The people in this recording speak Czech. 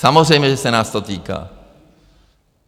Samozřejmě že se nás to týká.